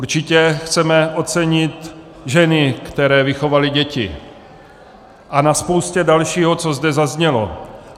Určitě chceme ocenit ženy, které vychovaly děti, a na spoustě dalšího, co zde zaznělo.